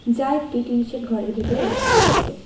যা একটি tin shed ঘরের ভেতরে রাখা রয়েছে।